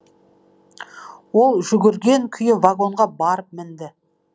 ол жүгірген күйі вагонға барып мінді